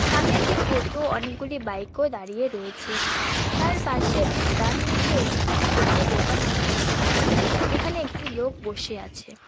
সামনে একটি টোটো অনেকগুলি বাইক -ও দাঁড়িয়ে রয়েছে তার পাশে ডান দিকে একটি ছোট্ট দোকান আমরা দেখতে পাচ্ছি যেখানে একটি লোক বসে আছে।